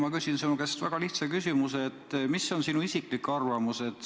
Ma küsin sinu käest väga lihtsa küsimuse: mis on sinu isiklik arvamus?